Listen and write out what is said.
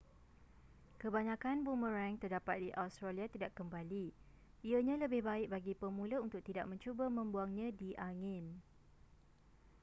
kebanyakan boomerang terdapat di australia tidak kembali ianya lebih baik bagi pemula untuk tidak mencuba membuangnya di angin